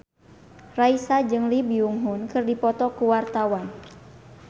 Raisa jeung Lee Byung Hun keur dipoto ku wartawan